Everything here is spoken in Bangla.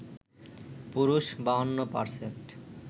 পুরুষ ৫২%